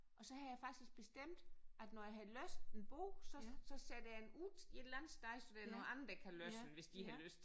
Og så havde jeg faktisk bestemt at når jeg havde læst en bog så så sætter jeg den ud et eller andet sted så der er nogle andre der kan læse den hvis de har lyst